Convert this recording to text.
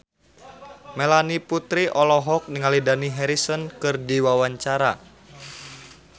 Melanie Putri olohok ningali Dani Harrison keur diwawancara